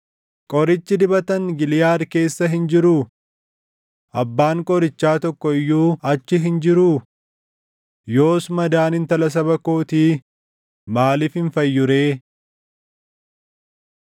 Qorichi dibatan Giliʼaad keessa hin jiruu? Abbaan qorichaa tokko iyyuu achi hin jiruu? Yoos madaan intala saba kootii maaliif hin fayyu ree?